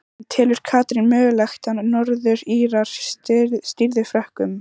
En telur Katrín mögulegt að Norður Írar stríði Frökkum?